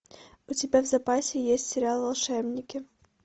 у тебя в запасе есть сериал волшебники